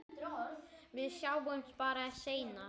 Við sjáumst bara seinna.